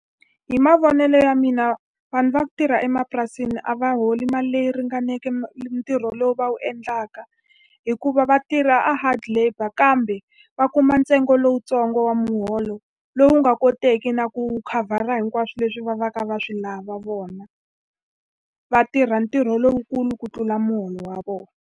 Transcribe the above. Hi mavonelo ya mina vanhu va ku tirha emapurasini a va holi mali leyi ringaneke ntirho lowu va wu endlaka, hikuva vatirha a hard labour kambe va kuma ntsengo lowutsongo wa muholo. Lowu nga koteki na ku khavhara hinkwaswo leswi va va ka va swi lava vona. Va tirha ntirho lowukulu ku tlula muholo wa vona.